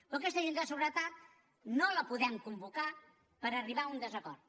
però aquesta junta de seguretat no la podem convocar per arribar a un desacord